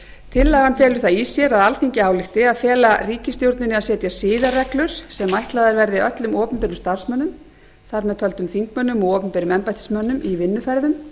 tillagan felur það í sér að alþingi álykti að fela ríkisstjórninni að setja siðareglur sem ætlaðar verði öllum opinberum starfsmönnum þar með talin þingmönnum og opinberum embættismönnum í vinnuferðum